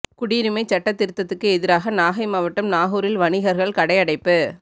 குடியுரிமைச் சட்டதிருத்தத்துக்கு எதிராக நாகை மாவட்டம் நாகூரில் வணிகர்கள் கடை அடைப்பு